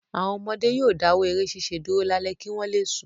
Àwọn ọmọdé yóò dáwọ́ eré ṣiṣẹ́ dúró lálẹ́ kí wọ́n le sùn.